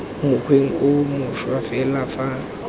mokgweng o mošwa fela fa